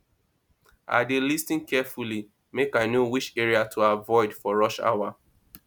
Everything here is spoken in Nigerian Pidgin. i dey lis ten carefully make i know which area i go avoid for rush hour